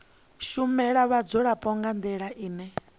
shumela vhadzulapo nga ndila ine